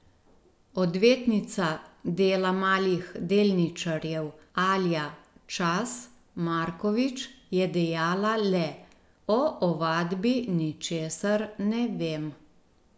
Odvetnica dela malih delničarjev Alja Čas Markovič je dejala le: 'O ovadbi ničesar ne vem.